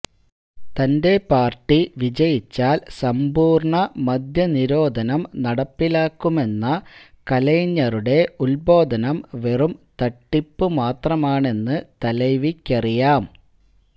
തന്റെ പാര്ട്ടി വിജയിച്ചാല് സമ്പൂര്ണ മദ്യനിരോധനം നടപ്പിലാക്കുമെന്ന കലൈജ്ഞറുടെ ഉദ്ബോധനം വെറും തട്ടിപ്പു മാത്രമാണെന്ന് തലൈവിക്കറിയാം